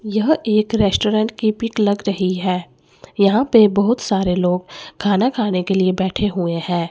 यह एक रेस्टोरेंट की पिक लग रही है यहां पे बहुत सारे लोग खाना खाने के लिए बैठे हुए हैं।